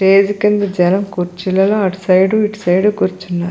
Stage కింద జనం కుర్చీలలో అటు సైడ్ ఇటు సైడ్ కూర్చున్నారు.